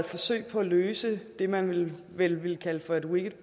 forsøg på at løse det man vel vil vil kalde for et wicked